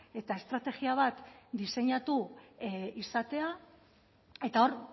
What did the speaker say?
eta estrategia bat diseinatu izatea eta hor